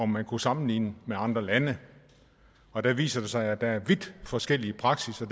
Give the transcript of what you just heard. man kunne sammenligne med andre lande og det viser sig at der er vidt forskellig praksis og